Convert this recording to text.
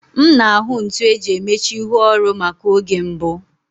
M na-ahụ ntu eji emechi ihu oru maka oge mbụ